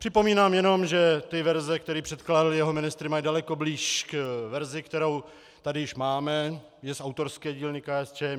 Připomínám jenom, že ty verze, které předkládali jeho ministři, mají daleko blíž k verzi, kterou tady už máme, je z autorské dílny KSČM.